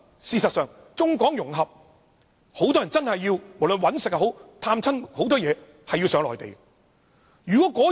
事實上，在中港融合的情況下，很多人都有需要到內地工作或探親。